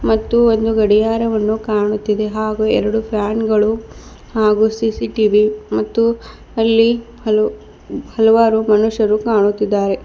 ಮತ್ತು ಒಂದು ಗಡಿಯಾರವನ್ನು ಕಾಣುತ್ತಿದೆ ಹಾಗೂ ಎರಡು ಫ್ಯಾನ್ ಗಳು ಹಾಗೂ ಸಿ_ಸಿ_ಟಿ_ವಿ ಮತ್ತು ಅಲ್ಲಿ ಹಲೋ ಹಲವಾರು ಮನುಷ್ಯರು ಕಾಣುತ್ತಿದ್ದಾರೆ.